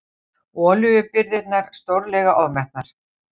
Olíubirgðirnar stórlega ofmetnar